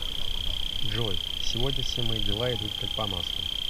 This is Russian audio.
джой сегодня все мои дела идут как по маслу